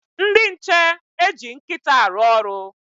Ndị nche eji nkịta arụ ọrụ.